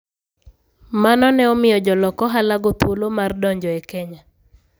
Mano ne omiyo jolok ohalago thuolo mar donjo e Kenya.